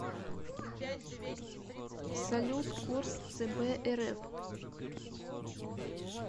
салют курс цб рф